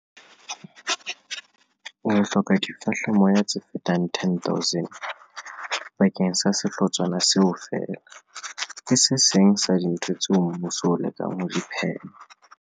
Re ka hloka difehlamoya tse fetang 10 000 bakeng sa sehlotshwana seo feela. Ke se seng sa dintho tsena tseo mmuso o lekang ho di phema.